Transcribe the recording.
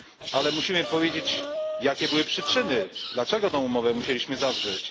Ale musimy powiedzieć, jakie były przyczyny, dlaczego tę umowę musieliśmy zawrzeć.